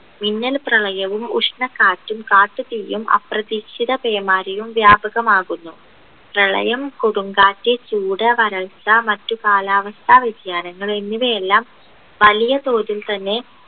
മിന്നൽ പ്രളയവും ഉഷ്ണക്കാറ്റും കാട്ടുതീയും അപ്രതീക്ഷിത പേമാരിയും വ്യാപകമാകുന്നു പ്രളയം കൊടുംകാറ്റ് ചൂട് വരൾച്ച മറ്റ് കാലാവസ്ഥ വ്യതിയാനങ്ങൾ എന്നിവയെല്ലാം വലിയ തോതിൽ തന്നെ